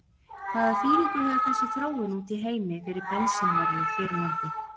Hvaða þýðingu hefur þessi þróun úti í heimi fyrir bensínverðið hér á landi?